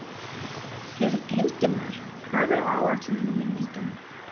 Hildimar, hvað er á áætluninni minni í dag?